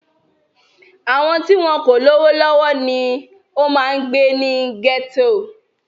Àwọn tí wọn kò lówó lọ́wọ́ ni ó máa ń gbé ní gẹ́tò